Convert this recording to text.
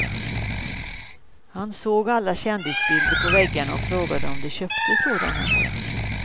Han såg alla kändisbilder på väggarna och frågade om de köpte sådana.